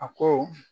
A ko